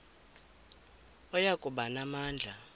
oya kuba namandla